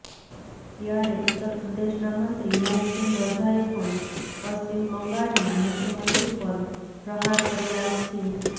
ત્યારે ઉત્તરપ્રદેશના મંત્રી મોહસિન રજાએ પણ પશ્ચિમ બંગાળના મુખ્યમંત્રી પર પ્રહાર કર્યા છે